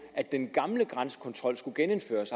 at den gamle grænsekontrol skulle genindføres